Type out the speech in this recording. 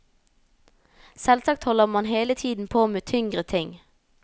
Selvsagt holder man hele tiden på med tyngre ting.